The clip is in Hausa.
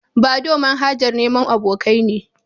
Badoo manhajar neman abokai ne.